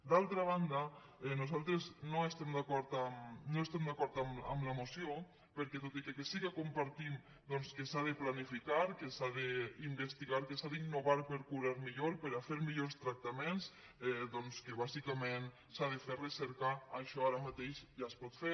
d’altra banda nosaltres no estem d’acord amb la moció perquè tot i que sí que compartim doncs que s’ha de planificar que s’ha d’investigar que s’ha d’innovar per curar millor per fer millors tractaments que bàsicament s’ha de fer recerca això ara mateix ja es pot fer